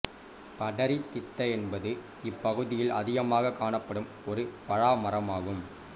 படரிதித்த என்பது இப் பகுதியில் அதிகமாகக் காணப்படும் ஒரு பழமரம் ஆகும்